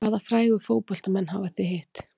Hvaða frægu fótboltamenn hafa þið hitt?